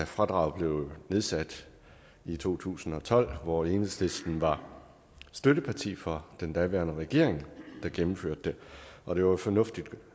fradraget blev nedsat i to tusind og tolv hvor enhedslisten var støtteparti for den daværende regering der gennemførte det og det var fornuftigt